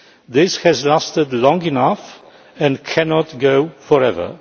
This has lasted long enough and it cannot go on forever.